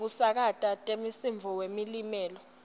tekusakata temsindvo wemlilo